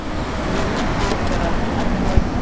дневник доктора открой